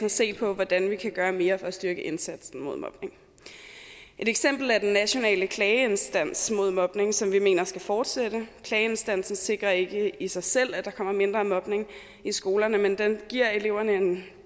at se på hvordan vi kan gøre mere for at styrke indsatsen mod mobning et eksempel er den nationale klageinstans mod mobning som vi mener skal fortsætte klageinstansen sikrer ikke i sig selv at der kommer mindre mobning i skolerne men den giver eleverne en